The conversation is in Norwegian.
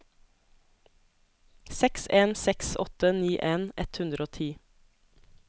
seks en seks åtte nittien ett hundre og ti